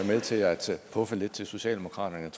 med til at puffe lidt til socialdemokraterne